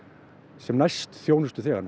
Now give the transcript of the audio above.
sem næst